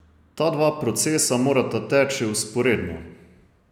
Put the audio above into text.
Ta dva procesa morata teči vzporedno.